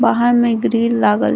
बाहर में ग्रिल लागल --